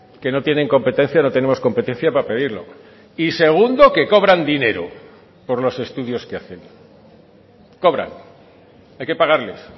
que no tienen competencia no tenemos competencia para pedirlo y segundo que cobran dinero por los estudios que hacen cobran hay que pagarles